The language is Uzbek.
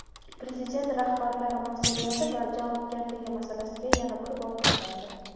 Prezident rahbarlar mas’uliyati va javobgarligi masalasiga yana bir bor to‘xtaldi.